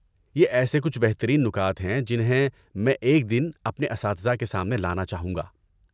یہ ایسے کچھ بہترین نکات ہیں جنہیں میں ایک دن اپنے اساتذہ کے سامنے لانا چاہوں گا۔